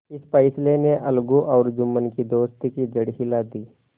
इस फैसले ने अलगू और जुम्मन की दोस्ती की जड़ हिला दी